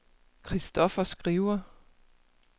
Christoffer Skriver